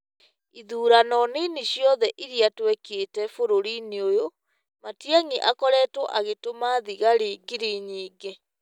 Ithuurano nini ciothe iria twekĩte bũrũri-inĩ ũyũ, Matiang'i akoretwo agĩtũma thigari ngiri nyingĩ ,